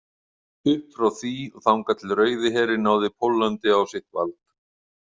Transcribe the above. Upp frá því og þangað til Rauði herinn náði Póllandi á sitt vald.